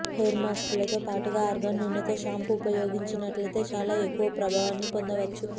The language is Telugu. హెయిర్ మాస్క్లతో పాటుగా ఆర్గాన్ నూనెతో షాంపూ ఉపయోగించినట్లయితే చాలా ఎక్కువ ప్రభావాన్ని పొందవచ్చు